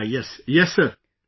Yes... Yes Sir